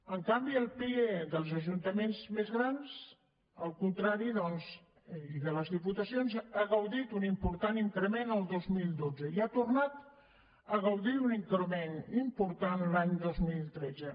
en canvi el pie dels ajuntaments més grans al contrari i de les diputacions ha gaudit d’un important increment el dos mil dotze i ha tornat a gaudir d’un increment important l’any dos mil tretze